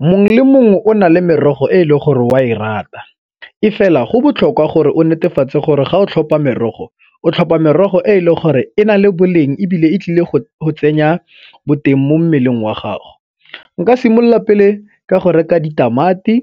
Mongwe le mongwe o na le merogo e e leng gore o a e rata, e fela go botlhokwa gore o netefatse gore ga o tlhopha merogo o tlhopha merogo e e leng gore e na le boleng ebile e tlile go tsenya boteng mo mmeleng wa gago. Nka simolola pele ka go reka ditamati,